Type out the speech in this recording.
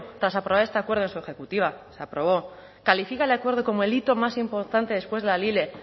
tras aprobar este acuerdo de su ejecutiva se aprobó califica el acuerdo como el hito más importante después de la lile